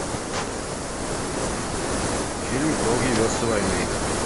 фильм долгие версты войны